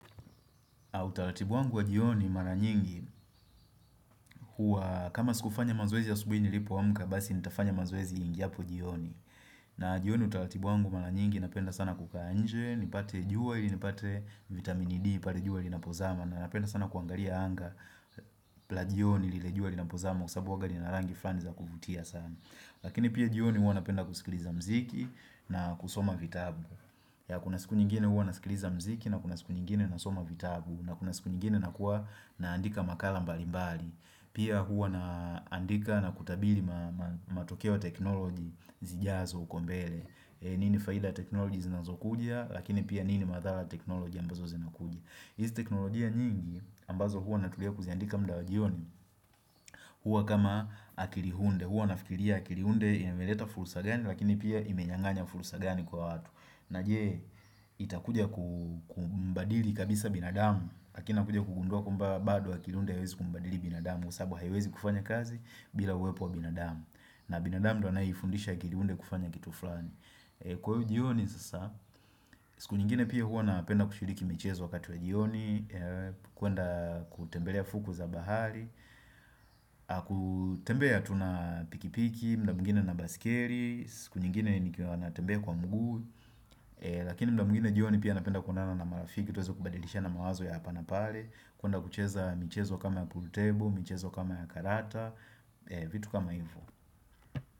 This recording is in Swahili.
Utalatibu wangu wa jioni mara nyingi huwa kama sikufanya mazoezi asubuhi nilipoamka basi nitafanya mazoezi ingiapo jioni na jioni utalatibu wangu mara nyingi napenda sana kukaa nje nipate jua ili nipate vitamini D ipade jua linapozama na napenda sana kuangalia anga la jioni lile jua linapozama kusabu huwaga lina rangi flani za kuvutia sana Lakini pia jioni hua napenda kusikiliza mziki na kusoma vitabu ya kuna siku nyingine hua nasikiliza mziki na kuna siku nyingine na soma vitabu na kuna siku nyingine nakuwa naandika makala mbali mbali pia huwa naandika na kutabili matokeo teknoloji zijazo huko mbele nini faida teknoloji zinazo kuja lakini pia nini madhala teknoloji ambazo zinakuja hizi teknoloji ya nyingi ambazo hua natumia kuziandika mda wa jioni huwa kama akilihunde hua nafikiria akilihunde inemeleta furusagani lakini pia imenyanganya furusagani kwa watu na jee itakuja kumbadili kabisa binadamu lakini nakuja kukundua kwamba bado akiliunde haiwezi kumbadili binadamu Kusabu hayawezi kufanya kazi bila uwepo wa binadamu na binadamu ndio anayeifundisha akiliunde kufanya kitu fulani Kwa iyo jioni sasa siku nyingine pia huwa napenda kushiriki michezo wakati wa jioni kuenda kutembelea fuku za bahari kutembea tu na pikipiki, mda mwingine na baskeli siku nyingine nikiwa natembea kwa mguu Lakini mda mwingine jioni pia napenda kundamana marafiki tuweze kubadilisha na mawazo ya hapa na pale kuanda kucheza michezo kama ya pool table michezo kama ya karata vitu kama hivo.